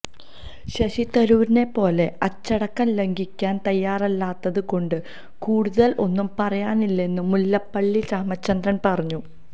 ശശി തരൂരിനെ പോലെ അച്ചടക്കം ലംഘിക്കാന് തയ്യാറല്ലാത്തത് കൊണ്ട് കൂടുതല് ഒന്നും പറയുന്നില്ലെന്നും മുല്ലപ്പള്ളി രാമചന്ദ്രന് പറഞ്ഞു